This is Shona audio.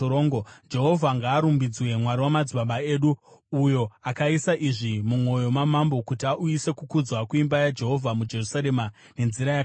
Jehovha ngaarumbidzwe, Mwari wamadzibaba edu, uyo akaisa izvi mumwoyo mamambo, kuti auyise kukudzwa kuimba yaJehovha muJerusarema nenzira yakadai,